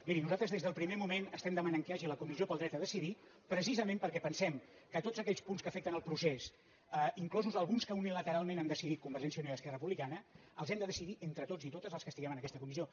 miri nosaltres des del primer moment estem demanant que hi hagi la comissió del dret a decidir precisament perquè pensem que tots aquells punts que afecten el procés inclosos alguns que unilateralment han decidit convergència i unió i esquerra republicana els hem de decidir entre tots i totes els que estiguem en aques·ta comissió